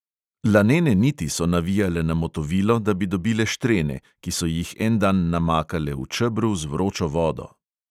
Lanene niti so navijale na motovilo, da bi dobile štrene, ki so jih en dan namakale v čebru z vročo vodo.